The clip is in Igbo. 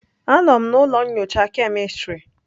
Anọ m na ụlọ nyocha kemistri.